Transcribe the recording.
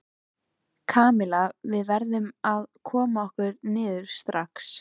Kamilla, við verðum að koma okkur niður strax.